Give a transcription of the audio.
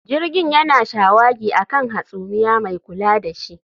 Jirgin yana shawagi a kan hasumiya mai kula da shi